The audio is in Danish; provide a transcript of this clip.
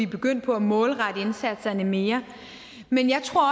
begyndt på at målrette indsatserne mere men jeg tror